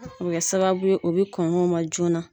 O bɛ kɛ sababu ye o bɛ kɔn'u ma joona.